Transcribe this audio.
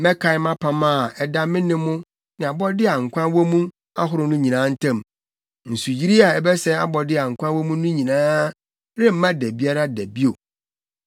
mɛkae mʼapam a ɛda me ne mo ne abɔde a nkwa wɔ mu ahorow no nyinaa ntam. Nsuyiri a ɛbɛsɛe abɔde a nkwa wɔ mu no nyinaa remma da biara da bio.